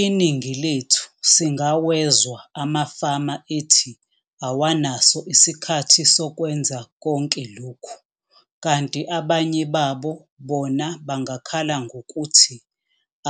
Iningi lethu singawezwa amafama ethi awanaso isikhathi sokwenza konke lokhu, kanti abanye babo bona bangakhala ngokuthi